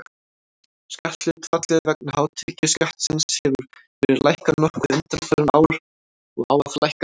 Skatthlutfallið vegna hátekjuskattsins hefur verið lækkað nokkuð undanfarin ár og á að lækka enn.